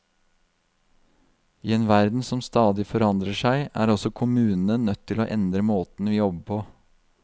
I en verden som stadig forandrer seg er også kommunene nødt til å endre måten vi jobber på.